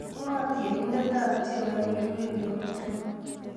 Ngo, tienindetab tiendo nekiureren nguni?